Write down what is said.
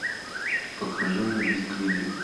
покажи мне без крыльев